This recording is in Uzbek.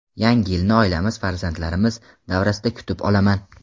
Yangi yilni oilamiz farzandlarimiz davrasida kutib olaman.